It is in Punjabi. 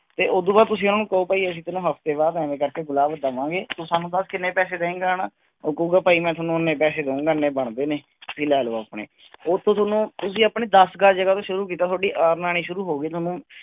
ਤੇ ਉਦੂ ਬਾਅਦ ਤੁਸੀਂ ਉਹਨੂੰ ਕਹੋ ਭਾਈ ਅਸੀਂ ਤੈਨੂੰ ਹਫ਼ਤੇ ਬਾਅਦ ਇਵੇਂ ਕਰਕੇ ਗੁਲਾਬ ਦੇਵਾਂਗੇ ਤੂੰ ਸਾਨੂੰ ਦੱਸ ਕਿੰਨੇ ਪੈਸੇ ਦਏਂਗਾ ਹਨਾ, ਉਹ ਕਹੇਗਾ ਭਾਈ ਮੈਂ ਤੁਹਾਨੂੰ ਇੰਨੇ ਪੈਸੇ ਦਉਂਗਾ ਇੰਨੇ ਬਣਦੇ ਨੇ ਵੀ ਲੈ ਲਓ ਆਪਣੇ ਉਹਤੋਂ ਤੁਹਾਨੂੰ ਤੁਸੀਂ ਆਪਣੇ ਦਸ ਗਜ਼ ਜਗ੍ਹਾ ਤੋਂ ਸ਼ੁਰੂ ਕੀਤਾ ਤੁਹਾਡੀ earn ਆਉਣੀ ਸ਼ੁਰੂ ਹੋ ਗਈ ਤੁਹਾਨੂੰ